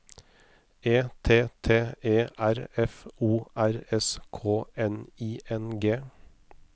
E T T E R F O R S K N I N G